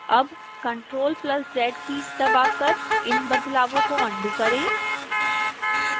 अब ctrl + z keys दबाकर इन बदलावों को अन्डू करें